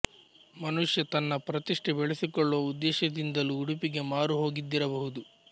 ಮನುಷ್ಯ ತನ್ನ ಪ್ರತಿಷ್ಠೆ ಬೆಳೆಸಿಕೊಳ್ಳುವ ಉದ್ದೇಶದಿಂದಲೂ ಉಡುಪಿಗೆ ಮಾರು ಹೋಗಿದ್ದಿರಬಹುದು